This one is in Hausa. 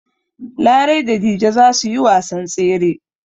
Larai da Dije za su yi wasan tsere.